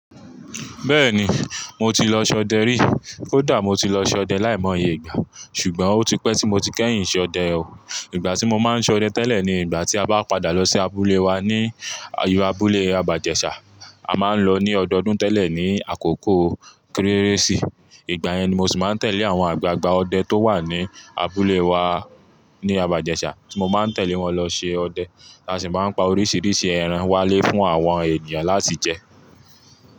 Bẹ́ẹ̀ni, mo ti lọ ṣọdẹ rí. Kódà mo ti lọ ṣọdẹ láìmọ̀ye ìgbà, ṣùgbọ́n ó ti pẹ́ tí mo ti kẹ́yìn ṣọdẹ o. Ìgbà tí mo máa ń ṣọdẹ tẹ́lẹ̀ ni ìgbà tí a bá padà lọ sí abúlé wa ní ayo abúlé Abajẹṣà. A máa ń lọ ní ọdọọdún tẹ́lẹ̀ ní àkókò Kérésì. Ìgbà yẹn ni mo sì máa ń tẹ̀lé àwọn àgbààgbà ọdẹ tó wà ní abúlé wa ní Abajẹṣà, tí mo máa ń tẹ̀lé wọn lọ ṣe ọdẹ. A sì máa ń pa oríṣiríṣi ẹran wálé fún àwọn ènìyàn láti jẹ.